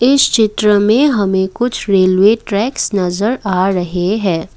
इस चित्र में हमें कुछ रेलवे ट्रैक्स नजर आ रहे हैं।